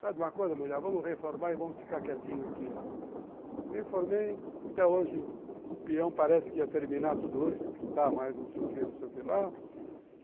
de uma coisa mulher, vamos reformar e vamos ficar quietinho aqui, ó. Reformei, até hoje o peão parece que ia terminar tudo hoje de pintar mais, não sei o que, não sei o que lá.